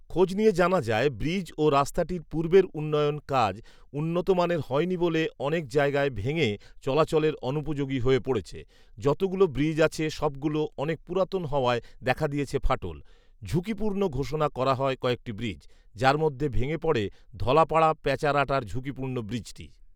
খোজ নিয়ে জানা যায়, ব্রিজ ও রাস্তাটির পূর্বের উন্নয়ন কাজ উন্নতমানের হয়নি বলে অনেক যায়গায় ভেঙ্গে চলাচলের অনুপযোগী হয়ে পড়েছে৷ যতগুলো ব্রিজ আছে সব গুলো অনেক পুরাতন হওয়ায় দেখা দিয়েছে ফাটল৷ঝুকিপুর্ণ ঘোষনা করা হয় কয়েকটি ব্রিজ৷ যার মধ্যে ভেঙ্গে পড়ে ধলাপাড়া পেচারআটার ঝুকিপুর্ন ব্রিজটি